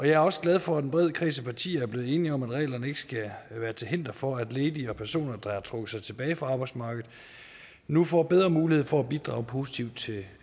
jeg er også glad for at en bred kreds af partier er blevet enige om at reglerne ikke skal være til hinder for at ledige personer der har trukket sig tilbage fra arbejdsmarkedet nu får bedre mulighed for at bidrage positivt til